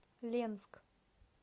ленск